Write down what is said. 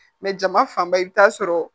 Mɛ jama fanba i bɛ taa sɔrɔ